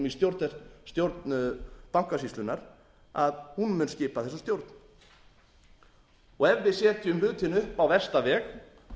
í stjórn bankasýslunnar að hún mun skipa þessa stjórn ef við setjum hlutina upp á versta veg